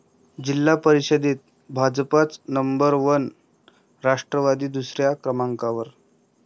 जिल्हा परिषदेत भाजपच नंबर वन, राष्ट्रवादी दुसऱ्या क्रमांकावर